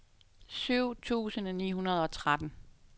syv tusind ni hundrede og tretten